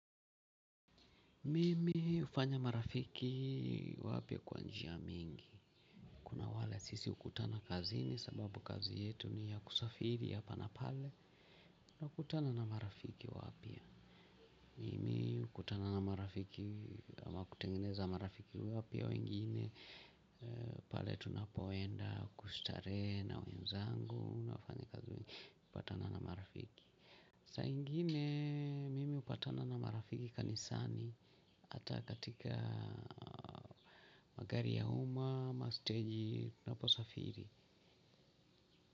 Mimi hufanya marafiki wapya kwa njia mingi kuna wale sisi hukutana kazini sababu kazi yetu ni ya kusafiri hapa na pale. Nakutana na marafiki wapya. Mimi hukutana na marafiki ama kutengeneza marafiki wapya wengine. Pale tunapo enda kustarehe na wenzangu unafanya kazi hupatana na marafiki. Saa ingine mimi hupatana na marafiki kanisani. Hata katika magari ya uma ama stage ninapo safiri.